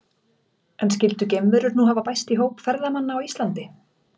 En skyldu geimverur nú hafa bæst í hóp ferðamanna á Íslandi?